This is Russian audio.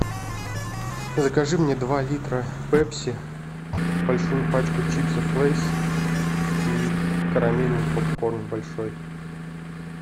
закажи мне два литра пепси большую пачку чипсов лейс и карамельный попкорн большой